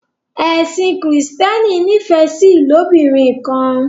Ẹsìn kristiani n'ifẹ sí ilobirin kan